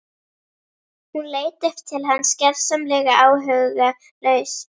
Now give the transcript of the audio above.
Hún leit upp til hans gersamlega áhugalaus.